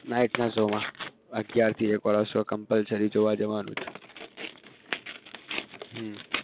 night ના show માં અગિયાર થી એકવાળો show compulsory જોવા જવાનું જ હમ